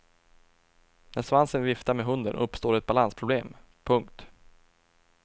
När svansen viftar med hunden uppstår ett balansproblem. punkt